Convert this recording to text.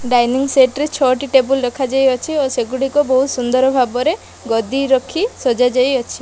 Dining set ରେ ଛଅଟି table ରଖାଯାଇ ଅଛି ଓ ସେଗୁଡିକ ବହୁତ୍ ସୁନ୍ଦର ଭାବରେ ଗଦି ରଖି ସଜା ଯାଇଅଛି।